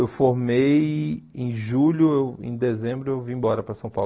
Eu formei em julho, em dezembro eu vim embora para São Paulo.